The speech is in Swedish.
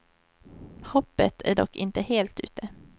Hoppet är dock inte helt ute.